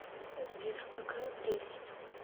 сбер какая прелесть